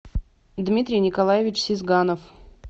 дмитрий николаевич сизганов